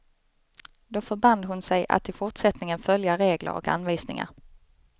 Då förband hon sig att i fortsättningen följa regler och anvisningar.